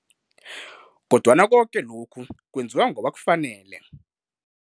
Kodwana koke lokhu kwenziwa ngoba kufanele.